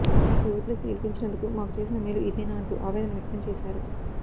మీకు ఓట్లేసి గెలిపించినందుకు మాకు చేసిన మేలు ఇదేనా అంటూ ఆవేదన వ్యక్తం చేశారు